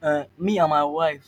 um me and my wife